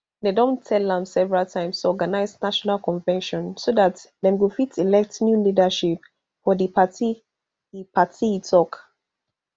dem don tell am several times to organise national convention so dat dem go fit elect new leadership for di party e party e tok